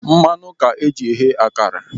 Mmanụ ka eji eghe akara.